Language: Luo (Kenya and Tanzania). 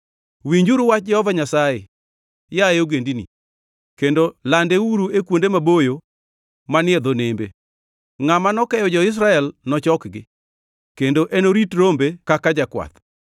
“Winjuru wach Jehova Nyasaye, yaye ogendini, kendo landeuru e kuonde maboyo manie dho nembe: ‘Ngʼama nokeyo jo-Israel nochokgi, kendo enorit rombe kaka jakwath.’